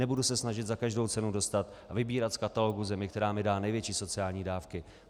Nebudu se snažit za každou cenu dostat a vybírat z katalogu zemí, která mi dá největší sociální dávky.